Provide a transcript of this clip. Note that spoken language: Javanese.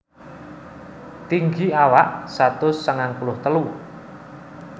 Tinggi awak satus sangang puluh telu